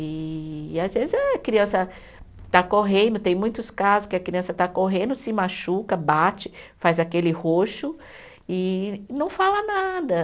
E às vezes a criança está correndo, tem muitos casos que a criança está correndo, se machuca, bate, faz aquele roxo e e não fala nada.